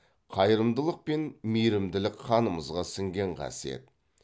қайырымдылық пен мейірімділік қанымызға сіңген қасиет